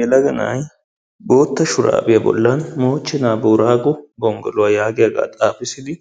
Yelaga na"ay bootta shuraabiya bollan "mochena booraago gonggoluwaa" yaagiyaagaa xaafissidi